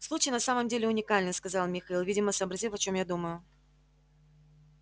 случай на самом деле уникальный сказал михаил видимо сообразив о чём я думаю